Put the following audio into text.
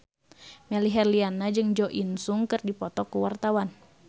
Melly Herlina jeung Jo In Sung keur dipoto ku wartawan